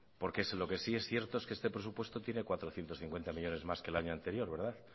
porque lo que sí es cierto es que este presupuesto tiene cuatrocientos cincuenta millónes más que el año anterior